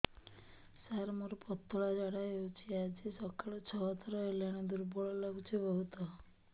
ସାର ମୋର ପତଳା ଝାଡା ହେଉଛି ଆଜି ସକାଳୁ ଛଅ ଥର ହେଲାଣି ଦୁର୍ବଳ ଲାଗୁଚି ବହୁତ